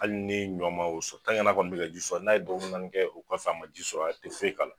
Hali ni ɲɔ ma o sɔ n'a kɔni bɛ ka ji sɔ n'a ye dɔgɔkun naani kɛ o kɔfɛ a ma ji sɔrɔ a te foyi k'a la.